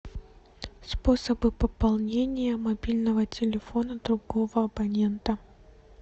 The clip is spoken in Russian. способы пополнения мобильного телефона другого абонента